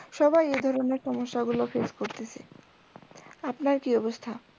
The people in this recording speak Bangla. সবাই এধরণের সমস্যা গুলো face করতেসে, আপনার কি অবস্থা?